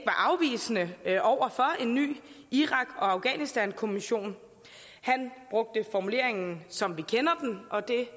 afvisende over for en ny irak og afghanistankommission han brugte formuleringen som vi kender den og det